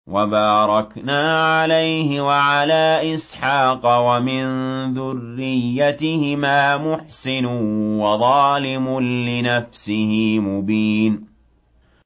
وَبَارَكْنَا عَلَيْهِ وَعَلَىٰ إِسْحَاقَ ۚ وَمِن ذُرِّيَّتِهِمَا مُحْسِنٌ وَظَالِمٌ لِّنَفْسِهِ مُبِينٌ